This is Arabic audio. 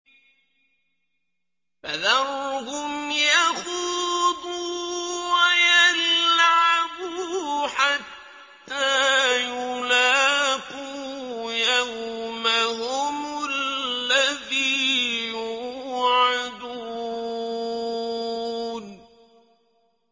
فَذَرْهُمْ يَخُوضُوا وَيَلْعَبُوا حَتَّىٰ يُلَاقُوا يَوْمَهُمُ الَّذِي يُوعَدُونَ